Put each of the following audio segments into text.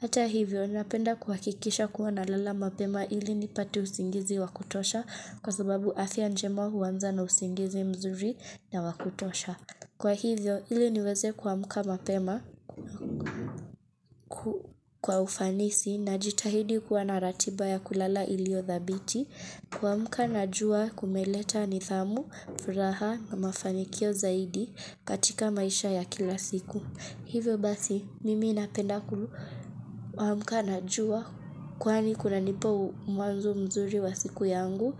Ata hivyo, ninapenda kuhakikisha kuwa nalala mapema ili nipate usingizi wa kutosha kwa sababu afya njema huanza na usingizi mzuri na wa kutosha. Kwa hivyo, ili niweze kuamka mapema kwa ufanisi najitahidi kwa naratiba ya kulala iliyo dhabiti, kuamka na jua kumeleta nidhamu, furaha na mafanikio zaidi katika maisha ya kila siku. Hivyo basi, mimi napenda kuamka na jua kwani kunanipa mwanzo mzuri wa siku yangu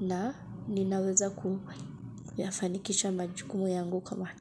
na ninaweza kuyafanikisha majukumu yangu kama.